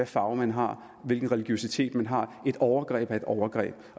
farve man har hvilken religiøsitet man har et overgreb er et overgreb